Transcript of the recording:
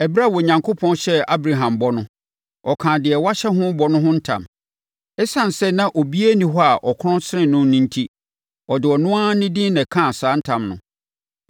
Ɛberɛ a Onyankopɔn hyɛɛ Abraham bɔ no, ɔkaa deɛ wahyɛ ho bɔ no ho ntam. Esiane sɛ na obiara nni hɔ a ɔkorɔn sene no no enti, ɔde ɔno ara ne din na ɛkaa saa ntam no.